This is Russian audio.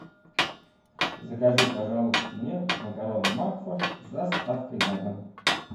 закажи пожалуйста мне макароны макфа с доставкой на дом